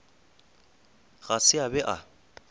ga se a be a